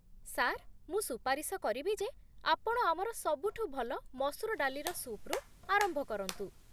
Sir, ମୁଁ ସୁପାରିଶ କରିବି ଯେ ଆପଣ ଆମର ସବୁଠୁ ଭଲ ମସୁର ଡାଲିର ସୁପ୍‌ରୁ ଆରମ୍ଭ କରନ୍ତୁ।